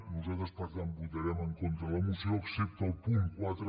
nosaltres per tant votarem en contra de la moció excepte al punt quatre